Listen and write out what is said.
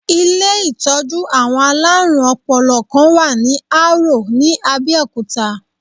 Ilé-ìtọ́jú àwọn aláàrùn ọpọlọ̀ kan wà ní Árò ní Abẹ́òkútà.